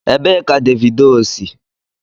Ebee ka Davido si?